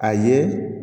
A ye